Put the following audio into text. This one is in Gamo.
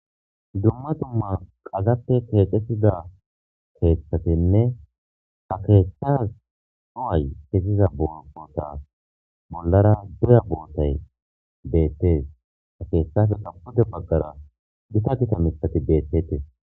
Duma duma wadape kexetida keethatine ha kethazas cuway keziza sohoy bollara doya botay beetes he kethapeka pude bagara Gita Gita keethati beetosona